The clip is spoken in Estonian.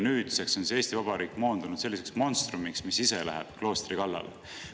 Nüüdseks on siis Eesti Vabariik moondunud selliseks monstrumiks, mis läheb ise kloostri kallale.